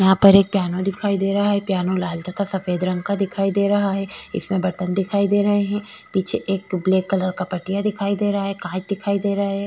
यहा पर एक पियानो दिखाई दे रहा है पियानो लाल तथा सफ़ेद दिखाई दे रहा है इसमें बर्तन दिखाई दे रहे है पीछे एक ब्लैक कलर का पट्टियाँ दिखाई दे रहा है काँच दिखाई दे रहे --